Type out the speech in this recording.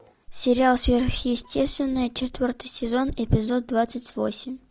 сериал сверхъестественное четвертый сезон эпизод двадцать восемь